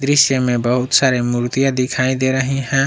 इसमें बहुत सारे मूर्तियां दिखाई दे रहे हैं।